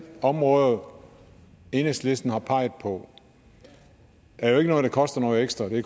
områder enhedslisten har peget på er jo ikke noget der koster ekstra det